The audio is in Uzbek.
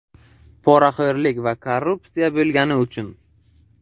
poraxo‘rlik va korrupsiya bo‘lgani uchun.